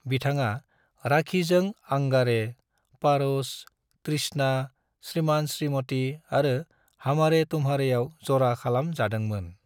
बिथाङा राखीजों अंगारे, पारस, तृष्णा, श्रीमान श्रीमती आरो हमारे तुमारेआव जरा खालाम जादों मोन ।